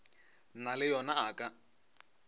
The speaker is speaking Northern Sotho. na le yo a ka